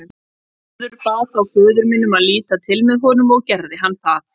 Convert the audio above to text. Þórður bað þá föður minn um að líta til með honum og gerði hann það.